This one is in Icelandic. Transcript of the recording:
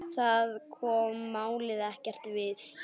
Það kom málinu ekkert við.